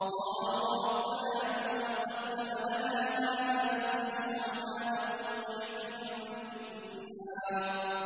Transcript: قَالُوا رَبَّنَا مَن قَدَّمَ لَنَا هَٰذَا فَزِدْهُ عَذَابًا ضِعْفًا فِي النَّارِ